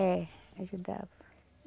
É, ajudava.